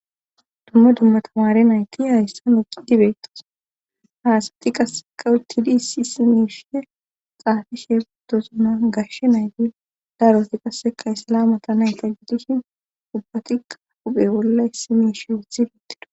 dumma dumma tamare nayti hayssan oqi dibeetos haasati qasseka uttidi issi isi miishe xaafi sheefetozuna gash nayti daroti qasseka sala mata nayta gidishin ubbatiqa uphe bolla issi miishe woothi dittido